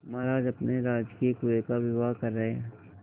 महाराज अपने राजकीय कुएं का विवाह कर रहे